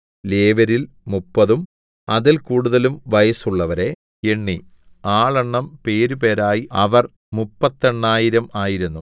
ലേവ്യരിൽ മുപ്പതും അതിൽ കൂടുതലും വയസ്സുള്ളവരെ എണ്ണി ആളെണ്ണം പേരുപേരായി അവർ മുപ്പത്തെണ്ണായിരം ആയിരുന്നു